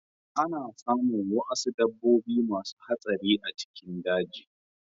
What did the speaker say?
Ana samun wuasu dabbobi masu hatsari a cikin daji.